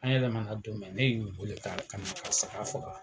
An yɛlɛmana don mɛn ne y'u wele ka ka na ka karisa ka fɔ